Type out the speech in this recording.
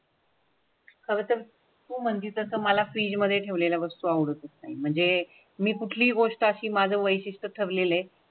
आता मंदी तर तुम्हाला फ्रीज मध्ये ठेवलेल्या वस्तू आवडते म्हणजे मी कुठलीही गोष्ट अशी माझं वैशिष्टय़ ठरलेली आहे तर मग ते.